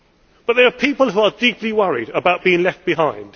But there are people who are deeply worried about being left behind